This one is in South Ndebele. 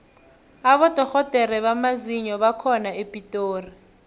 abodorhodere bamazinyo bakhona epitori